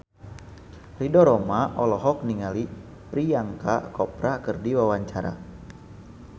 Ridho Roma olohok ningali Priyanka Chopra keur diwawancara